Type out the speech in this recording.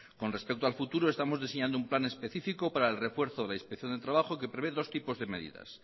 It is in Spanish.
con respecto al futuro estamos diseñando un plan específico para el refuerzo de la inspección de trabajo que prevé dos tipos de medidas